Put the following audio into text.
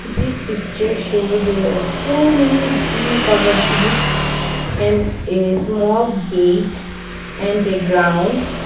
this picture shows there are so many green colour trees and a small gate and a ground.